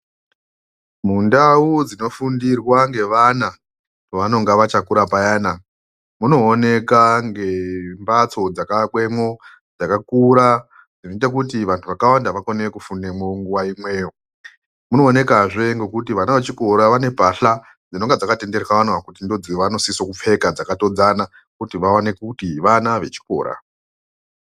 Mundau dzinofundirwa nevana pavanenge vachakura payana munooneka ngembatso dzakavakwamo dzakakura dzinoita kuti vantu vakawanda vakone kufundamo nguwa imweyo munoone kwazve ngekuti vana vechikora vane mbahla dzinenge dzakatenderwa kuti vanosisa kupfeka dzakatodzana kuti vaonekwe kuti vana vechikora.